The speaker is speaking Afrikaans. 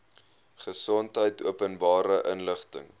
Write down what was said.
gesondheid openbare inligting